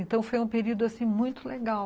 Então, foi um período assim muito legal.